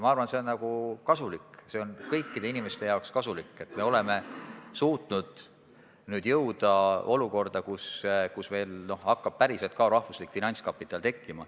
Ma arvan, et see on kasulik, see on kõikide inimeste jaoks kasulik, et oleme suutnud jõuda olukorda, kus meil hakkab päriselt tekkima rahvuslik finantskapital.